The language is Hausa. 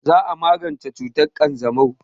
Za a magance cutar ƙanjamau.